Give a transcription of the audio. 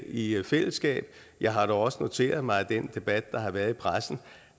i fællesskab jeg har dog også noteret mig af den debat der har været i pressen